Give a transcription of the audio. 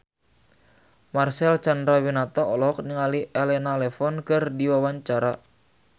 Marcel Chandrawinata olohok ningali Elena Levon keur diwawancara